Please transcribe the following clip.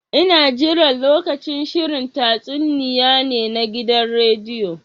Ina jiran lokacin shirin tatsuniya ne na gidan rediyo.